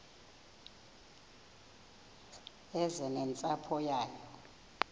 eze nentsapho yayo